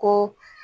Ko